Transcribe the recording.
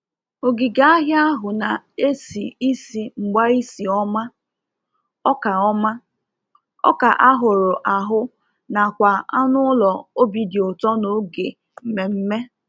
Ogige ahịa ahụ na-esi ísi mgbaisi oma, ọka oma, ọka a hụrụ ahụ nakwa anụ ụlọ obi dị ụtọ n'oge mmemme.